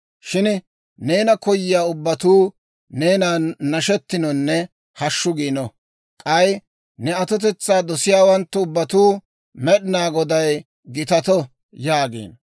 Shin neena koyiyaa ubbatuu, neenan nashetinonne hashshu giino. K'ay ne atotetsaa dosiyaawanttu ubbatuu, «Med'inaa Goday gitato!» yaagino.